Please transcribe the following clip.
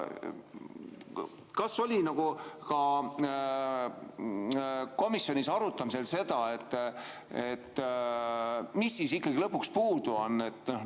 Kas oli komisjonis arutamisel ka see, et mis siis ikkagi lõpuks puudu on?